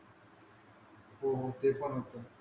हो हो ते पण होतय